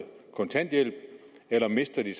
kontanthjælp eller mister de